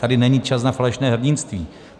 Tady není čas na falešné hrdinství.